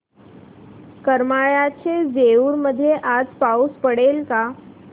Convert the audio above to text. करमाळ्याच्या जेऊर मध्ये आज पाऊस पडेल का